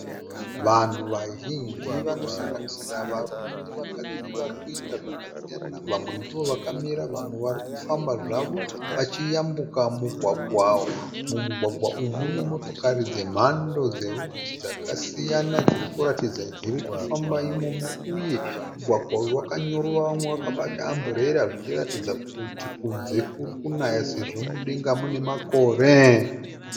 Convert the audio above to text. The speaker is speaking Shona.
Vanhu vazhinji vanosanganisira varume nevakadzi vari kuita zvakasiyana vamwe ndovakamira vamwe vari kufamba zvavo vachiyambuka mugwagwa. Mumugwagwa umu mune motokari dzemhando dzakasiyana dzirikuratidza kuti dziri kufamba imomo uye mugwagwa uyu wakanyorova vamwe vakabata amburera zvichiratidza kuti kunze kuri kunaya sezvo mudenga mune makore.